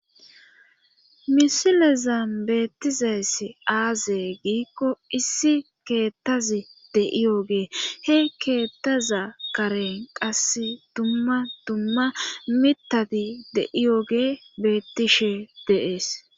Misilezan beettizayssi aaze giikko issi keettazi deiyogee he keettaza karen qas dumma dumma mitadi deiyoge beettishe deees.